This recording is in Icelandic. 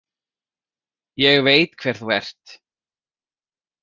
Ég veit hver þú ert